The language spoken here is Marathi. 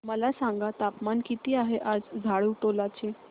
मला सांगा तापमान किती आहे आज झाडुटोला चे